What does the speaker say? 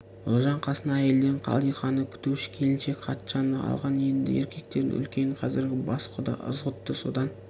ұлжан қасына әйелден қалиқаны күтуші келіншек қатшаны алған еді еркектердің үлкені қазіргі бас құда ызғұтты содан